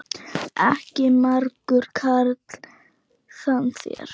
Ekki margur karl þann sér.